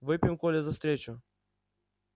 выпьем коля за встречу